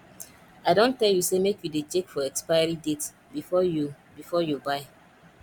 i don tell you say make you dey check for expiry date before you before you buy